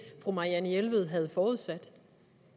fru marianne jelved havde forudsat